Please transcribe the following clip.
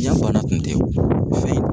bana tun fɛn in